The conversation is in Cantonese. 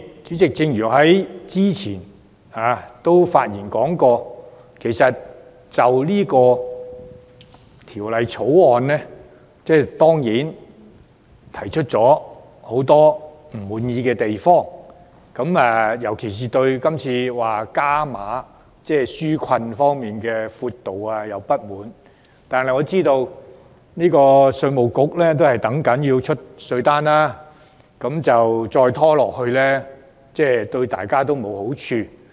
主席，我之前已表達對《條例草案》感到不滿的地方，我尤其不滿今次加碼紓困方案的闊度，但我知道稅務局正等待寄出稅單，再拖延下去對大家也沒有好處。